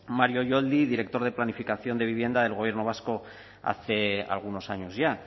mario yoldi director de planificación de vivienda del gobierno vasco hace algunos años ya